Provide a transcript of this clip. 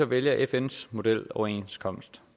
vælger fns modeloverenskomst